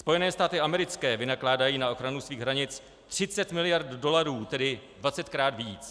Spojené státy americké vynakládají na ochranu svých hranic 30 miliard dolarů, tedy 20krát víc.